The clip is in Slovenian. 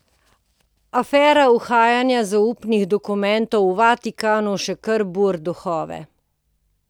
Afera uhajanja zaupnih dokumentov v Vatikanu še kar buri duhove.